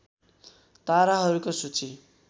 ताराहरूको सूची